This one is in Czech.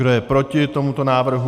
Kdo je proti tomuto návrhu?